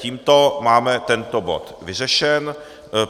Tímto máme tento bod vyřešen.